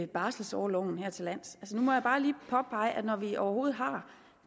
barselorloven her til lands nu må jeg bare lige påpege at når vi overhovedet har